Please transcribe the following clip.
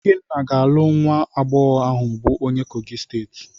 Ikenna ga-alụ nwa agbọghọ ahụ bụ onye Kogi steeti.